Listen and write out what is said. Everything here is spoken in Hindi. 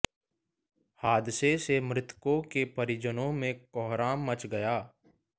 हादसों से मृतकों के परिजनों में कोहराम मच गया